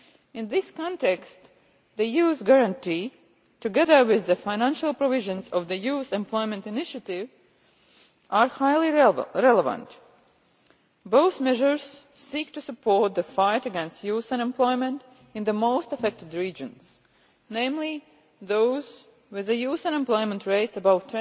In this context, the Youth Guarantee, together with the financial provisions of the Youth Employment Initiative, are highly relevant both measures seek to support the fight against youth unemployment in the most affected regions, namely those with youth unemployment rates above